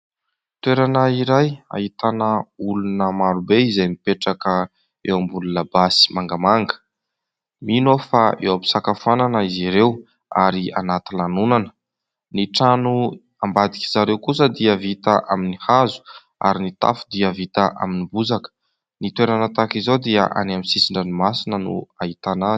Toerana iray ahitana olona marobe izay mipetraka eo ambony labasy mangamanga. Mino aho fa eo am-pisakafoanana izy ireo ary anaty lanonana. Ny trano ambadik'izareo kosa dia vita amin'ny hazo ary ny tafo dia vita amin'ny bozaka. Ny toerana tahaka izao dia any amin'ny sisin-dranomasina no ahitana azy.